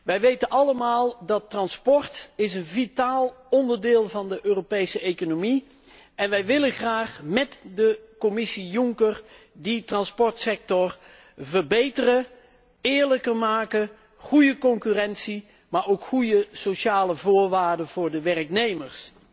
Wij weten allemaal dat transport een vitaal onderdeel is van de Europese economie en wij willen graag met de Commissie Juncker die transportsector verbeteren, eerlijker maken, zorgen voor goede concurrentie, maar ook voor goede sociale voorwaarden voor de werknemers.